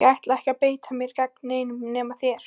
Ég ætla ekki að beita mér gegn neinum nema þér!